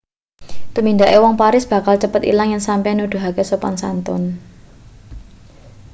tumindake wong paris bakal cepet ilang yen sampeyan nuduhake sopan-santun